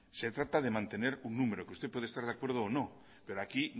se trata de mantener un número que usted puede estar de acuerdo o no pero aquí